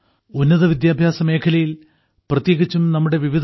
ഉന്നതവിദ്യാഭ്യാസമേഖലയിൽ പ്രത്യേകിച്ചും നമ്മുടെ വിവിധ ഐ